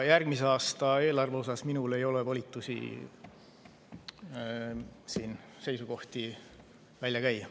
Järgmise aasta eelarve kohta ei ole minul volitusi siin seisukohti välja käia.